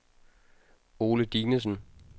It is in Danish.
Ole Dinesen